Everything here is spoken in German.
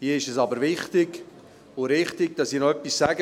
Hier ist es aber wichtig und richtig, dass ich noch etwas sage.